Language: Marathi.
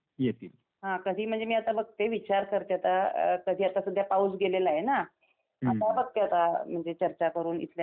हां, कधी म्हणजे मी आता बघते. विचार करते आता. कधी आता सध्या पाऊस गेलेला आहे ना. आता बघते आता. म्हणजे चर्चा करून इथल्या.